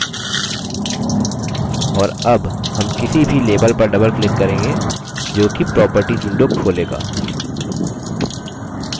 और double हम किसी भी label पर double click करेंगे जोकि properties window खोलेगा